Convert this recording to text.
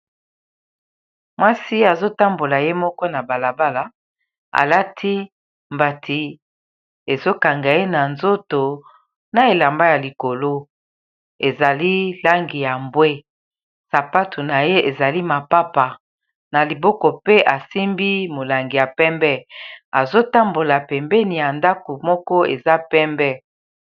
mwasi azotambola ye moko na balabala alati mbati ezokanga ye na nzoto na elamba ya likolo ezali langi ya mbwe sapatu na ye ezali mapapa na liboko pe asimbi molangi ya pembe azotambola pembeni ya ndako moko eza pembe